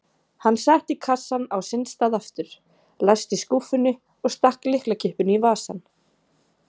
Hann setti kassann á sinn stað aftur, læsti skúffunni og stakk lyklakippunni í vasann.